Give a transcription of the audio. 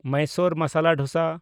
Mysore masala dosa